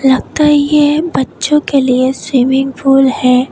लगता है ये बच्चों के लिए स्विमिंग पूल है।